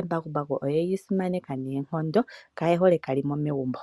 embakumbaku oyeli simanekane noonkondo kayehole kalimo megumbo.